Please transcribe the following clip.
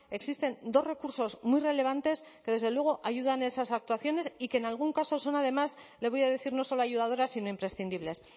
existen dos recursos muy relevantes que desde luego ayudan a esas actuaciones y que en algún caso son además le voy a decir no solo ayudadoras sino imprescindibles